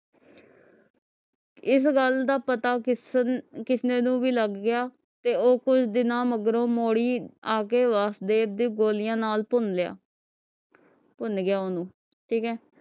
ਇਸ ਗੱਲ ਦਾ ਪਤਾ ਕਿਸਨ ਕਿਸਨੇ ਨੂੰ ਭੀ ਲਗ ਗਿਆ ਤੇ ਉਹ ਕੁਛ ਦਿਨਾਂ ਮਗਰੋਂ ਮੋੜੀ ਆਕੇ ਵਾਸੁਦੇਵ ਦੇ ਗੋਲੀਆਂ ਨਾਲ ਭੁਨ ਲਿਆ ਭੁਨ ਗਿਆ ਓਹਨੂੰ ਠੀਕ ਹੈ